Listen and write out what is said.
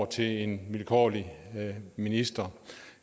til en vilkårlig minister